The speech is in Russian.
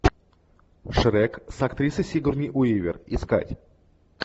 шрек с актрисой сигурни уивер искать